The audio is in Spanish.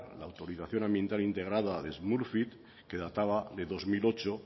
la autorización ambiental integrada de smurfit que databa de dos mil ocho